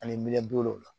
Ani miliyɔn duuru la